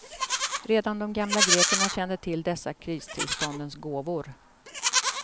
Redan de gamla grekerna kände till dessa kristillståndens gåvor.